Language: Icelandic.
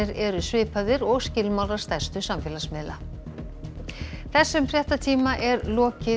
eru svipaðir og skilmálar stærstu samfélagsmiðla þessum fréttatíma er lokið